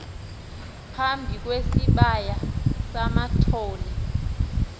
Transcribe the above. phambi kwesibaya samathole